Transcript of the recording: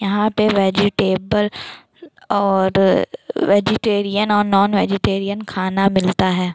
यहाँ पे वेजिटेबल और वेजीटेरियन और नॉन-वेजिटेरीअन खाना मिलता है।